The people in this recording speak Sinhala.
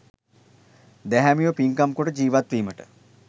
දැහැමිව පින්කම් කොට ජීවත්වීමට